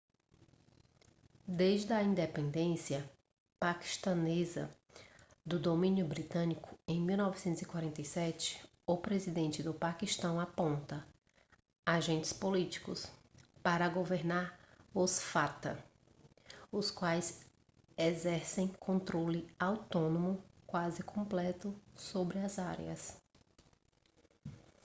desde a independência paquistanesa do domínio britânico em 1947 o presidente do paquistão aponta agentes políticos para governar os fata os quais exercem controle autônomo quase completo sobre as áreas